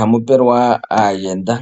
ha mu pe we lwa aayenda.